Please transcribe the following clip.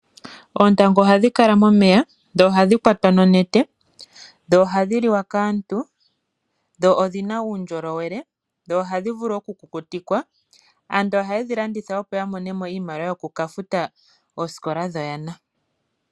Oontangu oha dhi kala momeye, dho oha dhi kwatwa nonete, dho oha dhi liwa kaantu, dho odhi na uundjolowele, dho oha dhi vulu oku kukutikwa. Aantu haa dhi landitha, opo ya mone mo iimaliwa yoku ka futa oosikola dhoyana.